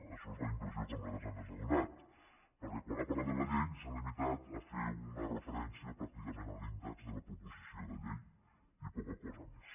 això és la impressió que a nosaltres ens ha donat perquè quan ha parlat de la llei s’ha limitat a fer una referèn·cia pràcticament a l’índex de la proposició de llei i po·ca cosa més